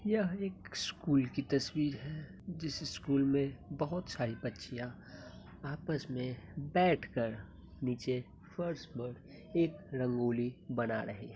यह एक स्कूल की तस्वीर है। जिस स्कूल मैं बोहत सारी बच्चियां आपस में बैठ कर नीचे फर्श पर एक रंगोली बना रहे हैं।